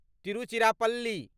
Tiruchirappalli